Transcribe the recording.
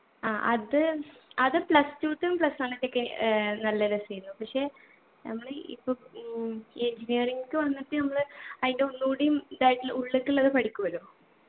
ആ അത് അത് plus two ത്തെ plus one ത്തെക്കെ ഏർ നല്ല രസേനു പക്ഷെ നമ്മള് ഇപ്പൊ ഉം ഇ engineering ക്ക് വന്നിട്ട് നമ്മള് അയിൻ്റെ ഒന്നൂടിയും ഇതായിട്ട്ളെ ഉള്ളുക്ക് ഉള്ളത് പഠിക്കൂലോ